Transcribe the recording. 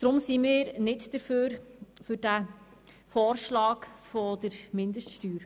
Darum sind wir nicht für den Vorschlag der Mindeststeuer.